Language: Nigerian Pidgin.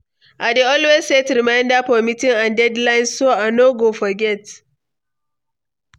I dey always set reminder for meetings and deadlines so I no go forget.